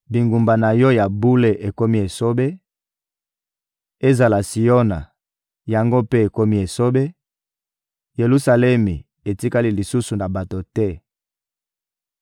Bingumba na Yo ya bule ekomi esobe; ezala Siona, yango mpe ekomi esobe; Yelusalemi etikali lisusu na bato te!